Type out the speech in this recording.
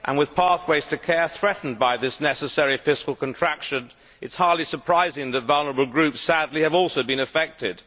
With pathways to care threatened by this necessary fiscal contraction, it is hardly surprising that vulnerable groups, sadly, have also been affected.